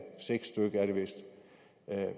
seks stykke er det vist